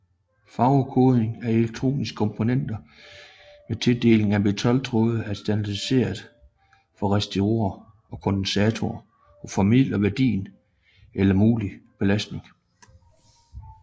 Farvekodning af elektroniske komponenter med tilledninger af metaltråd er standardiseret for resistorer og kondensatorer og formidler værdi eller mulig belastning